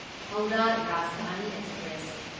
Howrah Rajdhani express